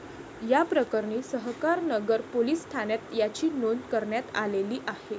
याप्रकरणी सहकारनगर पोलीस ठाण्यात याची नोंद करण्यात आलेली आहे.